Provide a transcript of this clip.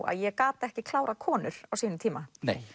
að ég gat ekki klárað konur á sínum tíma